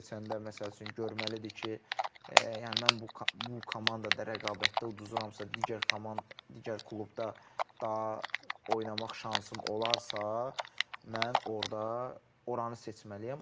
Klub seçəndə, məsəl üçün, görməlidir ki, yəni mən bu komandada rəqabətdə uduramsa, digər klubda daha oynamaq şansım olarsa, mən orda oranı seçməliyəm,